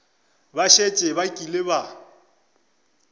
ba šetše ba kile ba